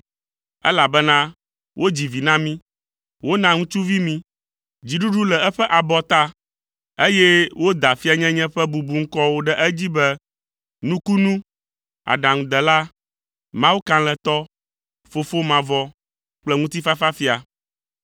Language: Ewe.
elabena wodzi vi na mí, wona ŋutsuvi mí. Dziɖuɖu le eƒe abɔta, eye woda fianyenye ƒe bubuŋkɔwo ɖe edzi be, “Nukunu, Aɖaŋudela, Mawu Kalẽtɔ, Fofo Mavɔ kple Ŋutifafafia.”